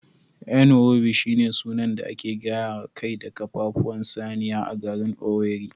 Nkwobi shine sunan da ake gayawa kai da ƙafafuwan saniya a garin Owerri